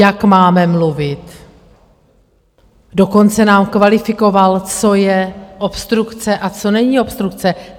Jak máme mluvit, dokonce nám kvalifikoval, co je obstrukce a co není obstrukce.